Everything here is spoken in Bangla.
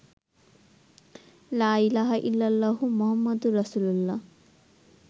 লা ইলাহা ইল্লাল্লাহু মুহাম্মাদুর রাসুলুল্লাহ